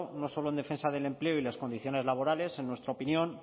no solo en defensa del empleo y las condiciones laborales en nuestra opinión